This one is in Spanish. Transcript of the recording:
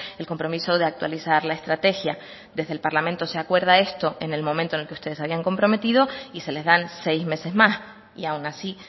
el compromiso de actualizar la estrategia desde el parlamento se acuerda esto en el momento en el que ustedes se habían comprometido y se les dan seis meses más y aún así